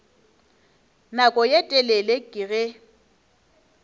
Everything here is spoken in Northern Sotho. nako ye telele ke ge